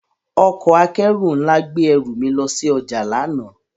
Ọkọ akẹru nla gbe eru mi lo si oja lana.